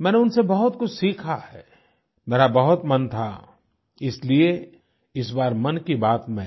मैंने उनसे बहुत कुछ सीखा है मेरा बहुत मन था इसलिए इस बार मन की बात में